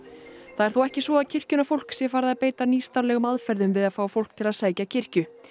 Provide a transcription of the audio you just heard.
það er þó ekki svo að kirkjunnar fólk sé farið að beita nýstárlegum aðferðum við að fá fólk til að sækja kirkju